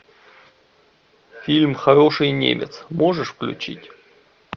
фильм хороший немец можешь включить